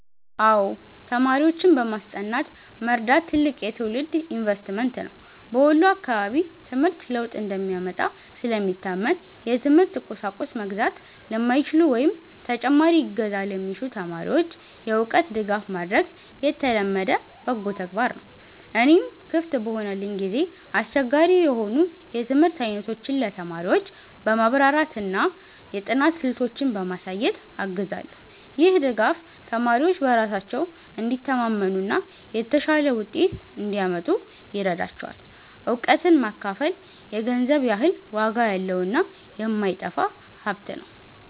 አዎ፣ ተማሪዎችን በማስጠናት መርዳት ትልቅ የትውልድ ኢንቨስትመንት ነው። በወሎ አካባቢ ትምህርት ለውጥ እንደሚያመጣ ስለሚታመን፣ የትምህርት ቁሳቁስ መግዛት ለማይችሉ ወይም ተጨማሪ እገዛ ለሚሹ ተማሪዎች የእውቀት ድጋፍ ማድረግ የተለመደ በጎ ተግባር ነው። እኔም ክፍት በሆነልኝ ጊዜ አስቸጋሪ የሆኑ የትምህርት አይነቶችን ለተማሪዎች በማብራራትና የጥናት ስልቶችን በማሳየት አግዛለሁ። ይህ ድጋፍ ተማሪዎች በራሳቸው እንዲተማመኑና የተሻለ ውጤት እንዲያመጡ ይረዳቸዋል። እውቀትን ማካፈል የገንዘብ ያህል ዋጋ ያለውና የማይጠፋ ሀብት ነው።